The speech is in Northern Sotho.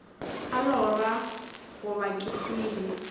a lora goba ke hwile